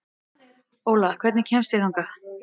Óla, hvernig kemst ég þangað?